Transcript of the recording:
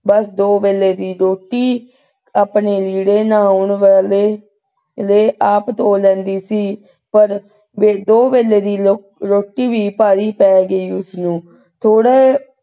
ਬਸ ਦੋ ਵੇਲੇ ਦੀ ਰੋਟੀ ਆਪਣੇ ਲੀੜੇ ਨਹਾਉਣ ਵਾਲੇ ਆਪ ਧੋ ਲੈਂਦੀ ਸੀ ਪਰ ਦੋ ਵੇਲੇ ਦੀ ਰੋਟੀ ਵੀ ਭਾਰੀ ਪੈ ਗਈ ਉਸਨੂੰ । ਥੋੜਾ,